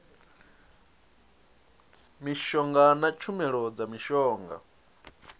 mishonga na tshumelo dza mishonga